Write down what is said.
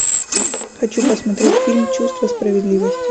хочу посмотреть фильм чувство справедливости